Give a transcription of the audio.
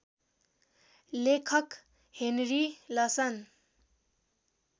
लेखक हेनरी लसन